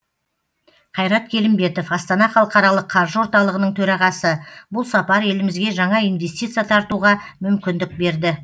қайрат келімбетов астана халықаралық қаржы орталығының төрағасы бұл сапар елімізге жаңа инвестиция тартуға мүмкіндік берді